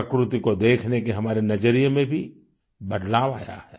प्रकृति को देखने के हमारे नज़रिये में भी बदलाव आया है